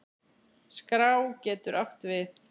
Skrá getur átt við